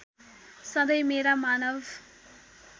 सधैँ मेरा मानव